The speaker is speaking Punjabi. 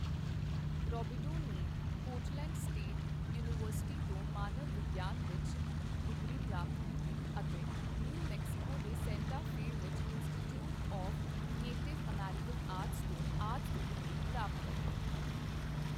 ਰੌਬੀਡੋ ਨੇ ਪੋਰਟਲੈਂਡ ਸਟੇਟ ਯੂਨੀਵਰਸਿਟੀ ਤੋਂ ਮਾਨਵ ਵਿਗਿਆਨ ਵਿੱਚ ਡਿਗਰੀ ਪ੍ਰਾਪਤ ਕੀਤੀ ਅਤੇ ਨਿਊ ਮੈਕਸੀਕੋ ਦੇ ਸੈਂਟਾ ਫੇ ਵਿੱਚ Institute of Native American Arts ਤੋਂ ਆਰਟਸ ਦੀ ਡਿਗਰੀ ਪ੍ਰਾਪਤ ਕੀਤੀ।